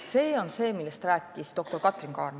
See on see, millest rääkis doktor Katrin Kaarma.